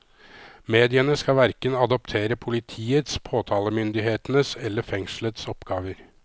Mediene skal hverken adoptere politiets, påtalemyndighetens eller fengslets oppgaver.